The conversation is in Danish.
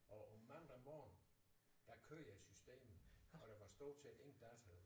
Og mandag morgen der kører systemet og der var stort set ingen danskere der ville